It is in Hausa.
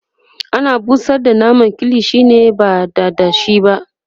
ana busar da naman kilishi ne ba dada shi ba